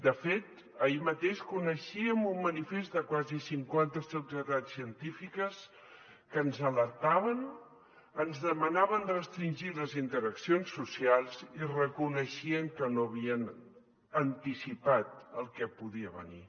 de fet ahir mateix coneixíem un manifest de quasi cinquanta societats científiques que ens alertaven ens demanaven restringir les interaccions socials i reconeixien que no havien anticipat el que podia venir